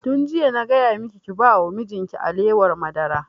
Tun jiya na gaya maki ki ba wa mijin ki alewar madara!